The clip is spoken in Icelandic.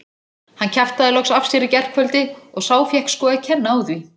Hann kjaftaði loks af sér í gærkvöldi og sá fékk sko að kenna á því.